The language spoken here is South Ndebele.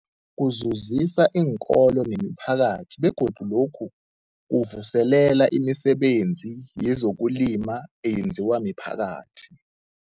Kuzuzisa iinkolo nemiphakathi begodu lokhu kuvuselela imisebenzi yezokulima eyenziwa miphakathi.